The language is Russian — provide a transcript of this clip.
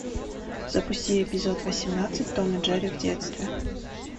запусти эпизод восемнадцать том и джерри в детстве